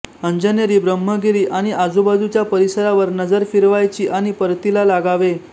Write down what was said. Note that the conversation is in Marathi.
अंजनेरी ब्रह्मगिरी आणि आजुबाजूच्या परिसरावर नजर फिरवायची आणि परतीला लागावे